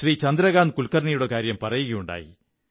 ചന്ദ്രകാന്ത് കുല്കrര്ണിനയുടെ കാര്യം പറയുകയുണ്ടായി